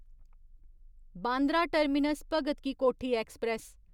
Bandra terminus Bhagat ki Kothi express